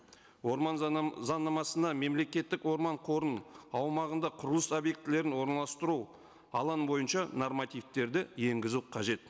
орман заңнамасына мемлекеттік орман қорының аумағында құрылыс объектілерін орналастыру алаң бойынша нормативтерді енгізу қажет